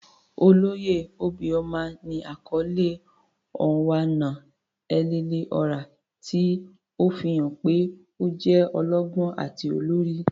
Oloye obioma ni akọle "Onwa-na-etili-ora," ti o fihan pe o jẹ ọlọgbọn ati olori.